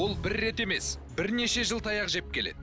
бұл бір рет емес бірнеше жыл таяқ жеп келеді